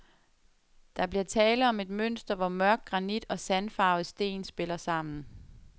Der bliver tale om et mønster, hvor mørk granit og sandfarvet sten spiller sammen.